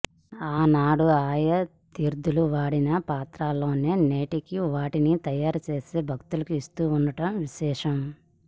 ఆనాడు ఆ యతీంద్రులు వాడిన పాత్రలోనే నేటికీ వాటిని తయారుచేసి భక్తులకు ఇస్తుండడం విశేషం